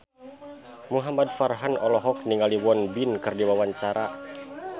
Muhamad Farhan olohok ningali Won Bin keur diwawancara